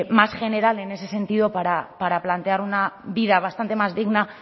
más general en ese sentido para plantear una vida bastante más digna